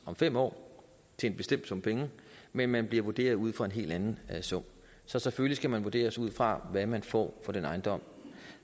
fem år til en bestemt sum penge men man bliver vurderet ud fra en helt anden sum så selvfølgelig skal man vurderes ud fra hvad man får for den ejendom